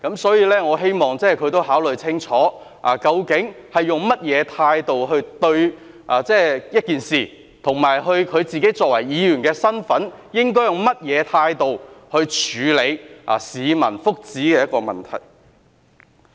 所以，我希望他也考慮清楚，究竟用甚麼態度對一件事，以及他作為議員的身份，應該用甚麼態度來處理一個關乎市民福祉的問題。